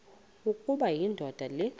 ukuba indoda le